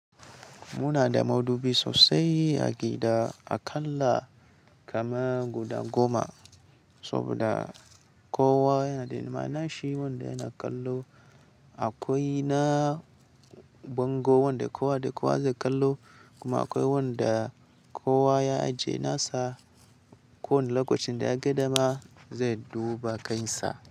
Muna da madubi sosai a gida, akalla kaman guda goma. Saboda kowa yana da nima, nashi wanda yana kallo. Akwai na bango wanda kowa da kowa zai kallo, kuma akwai wanda kowa ya ajiye nasa. Ko wani lokacin da ya ga dama zai duba kansa.